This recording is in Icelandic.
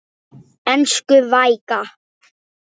Elsku Veiga.